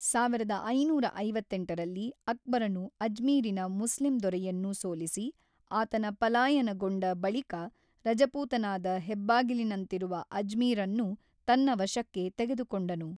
ಸಾವಿರದ ಐನೂರ ಐವತ್ತೆಂಟರಲ್ಲಿ ಅಕ್ಬರನು ಅಜ್ಮೀರಿನ ಮುಸ್ಲಿಂ ದೊರೆಯನ್ನು ಸೋಲಿಸಿ, ಆತನ ಪಲಾಯನಗೊಂಡ ಬಳಿಕ ರಜಪೂತನಾದ ಹೆಬ್ಬಾಗಿಲಿನಂತಿರುವ ಅಜ್ಮೀರ್ ಅನ್ನು ತನ್ನ ವಶಕ್ಕೆ ತೆಗೆದುಕೊಂಡನು.